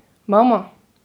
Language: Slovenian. Mama!